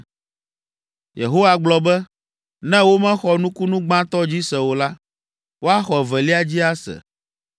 Yehowa gblɔ be, “Ne womexɔ nukunu gbãtɔ dzi se o la, woaxɔ evelia dzi ase.